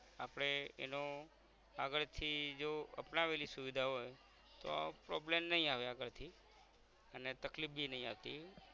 આપણે એનો આગળ થી જો અપનાવેલી સુવિધા હોય તો problem નઇ આવે આગળ થી અને તકલીફ બી નઇ આવતી